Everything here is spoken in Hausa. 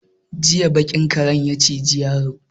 Jiya baƙin karen ya ciji yaron.